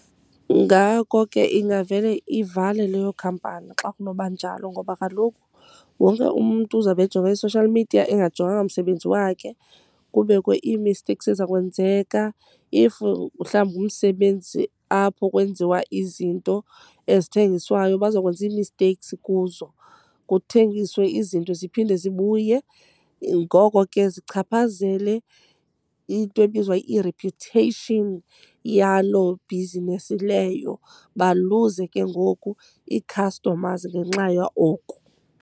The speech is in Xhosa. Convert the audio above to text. Ngako ke ingavele ivale leyo khampani xa kunoba njalo ngoba kaloku wonke umntu uzawube ejonge i-social media engajonganga msebenzi wakhe, kubekho ii-mistakes ezizakwenzeka. If mhlawumbi ngumsebenzi apho kwenziwa izinto ezithengiswayo bazokwenza ii-mistakes kuzo, kuthengiswe izinto ziphinde zibuye. Ngoko ke zichaphazele into ebizwa i-reputation yaloo bhizinesi leyo. Baluze ke ngoku ii-customers ngenxaya oko.